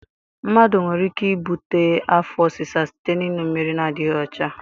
Mmadụ nwere ike ibute afọ ọsịsa site n'ịṅụ mmiri na-adịdghị ọcha.